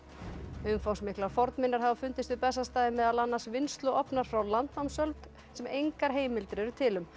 umfangsmiklar fornminjar hafa fundist við Bessastaði meðal annars frá landnámsöld sem engar heimildir eru til um